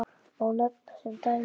Má nefna sem dæmi